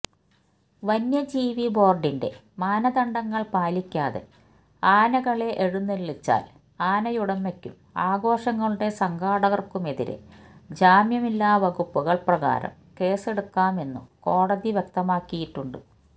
വന്യജീവി ബോര്ഡിന്റെ മാനദണ്ഡങ്ങള് പാലിക്കാതെ ആനകളെ എഴുന്നള്ളിച്ചാല് ആനയുടമയ്ക്കും ആഘോഷങ്ങളുടെ സംഘാടകര്ക്കുമെതിരേ ജാമ്യമില്ലാ വകുപ്പുകള് പ്രകാരം കേസെടുക്കാമെന്നും കോടതി വ്യക്തമാക്കിയിട്ടുണ്ട്